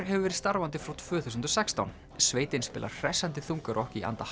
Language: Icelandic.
hefur verið starfandi frá tvö þúsund og sextán sveitin spilar hressandi þungarokk í anda